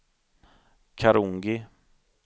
Karungi